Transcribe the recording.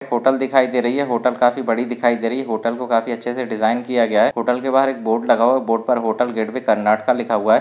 Hotel दिखाई दे रही है होटल काफी बड़ी दिखाई दे रही है होटल को काफी अच्छेसे डिज़ाइन किया गया है होटल के बाहर एक बोर्ड लगा हुआ है बोर्ड पर होटल गेट भी कर्नाटका लिखा हुआ है।